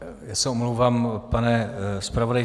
Já se omlouvám, pane zpravodaji.